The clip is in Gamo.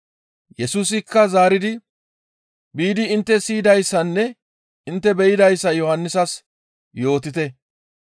Yesusikka zaaridi, «Biidi intte siyidayssanne intte be7idayssa Yohannisas yootite.